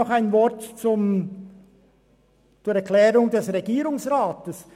Noch ein Wort zur Erklärung des Regierungsrats: